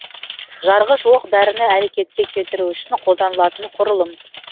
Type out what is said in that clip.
жарғыш оқ дәріні әрекетке келтіру үшін қолданылатын құрылым